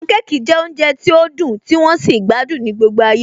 Pancake jẹ́ oúnjẹ tí ó dùn tí wón sì gbádùn ní gbogbo ayé